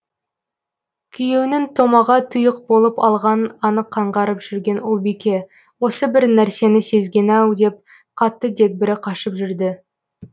күйеуінің томаға тұйық болып алғанын анық аңғарып жүрген ұлбике осы бір нәрсені сезген ау деп қатты дегбірі қашып жүрді